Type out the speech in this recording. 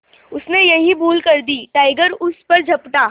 उसने यही भूल कर दी टाइगर उस पर झपटा